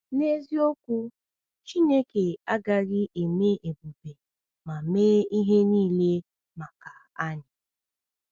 N’eziokwu, Chineke agaghị eme ebube ma mee ihe niile maka anyị.